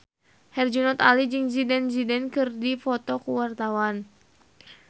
Herjunot Ali jeung Zidane Zidane keur dipoto ku wartawan